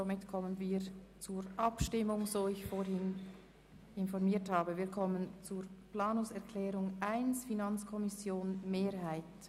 Somit kommen wir zu den Abstimmungen, über deren Ablauf ich vorhin informiert habe.